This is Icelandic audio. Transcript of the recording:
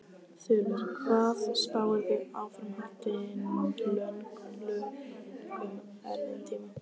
Þulur: Hvað spáirðu áframhaldandi löngum erfiðum tíma?